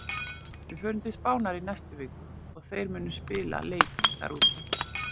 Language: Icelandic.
Við förum til Spánar í næstu viku og þeir munu spila leiki þar úti.